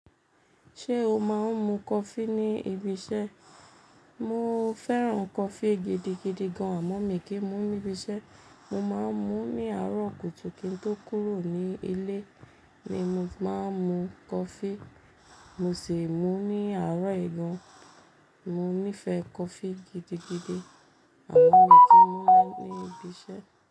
Ṣé o máa ń mu coffee ní ibi iṣẹ́? Mo fẹ́ràn coffee gidigidi gan, àmọ́ mi kì í mu níbi iṣẹ́. Mo máa ń mu ní àárọ̀ kùtù kí n tó kúrò ní ilé ni mo ti máa ń mu coffee, mo sì mú ní àárọ̀ yì gàn. Mo nífẹ̀ẹ́ coffee gidigidi, àmọ́ mi kì í mú ní bi iṣẹ́